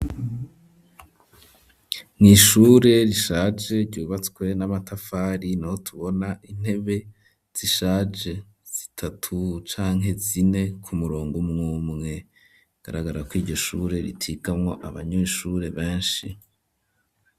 Mw'ishure rishaje ryubatswe n'amatafari, niho tubona intebe z'ishaje zitatu canke zine ku murongo umwumwe hagaragara ko iryo shure ritigamwo abanyeshure benshi.